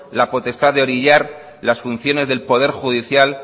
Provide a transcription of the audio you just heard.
la potestad de orillar las funciones del poder judicial